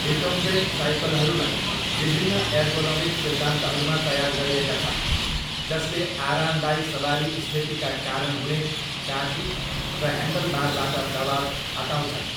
Recumbent साइकलहरूलाई विभिन्न ergonomic सिद्धान्तहरूमा तयार गरिएका छन् जसले आरामदायी सवारी स्थितिका कारण हुने काठी र ह्यान्डलबारबाट दबाव हटाउँछन्।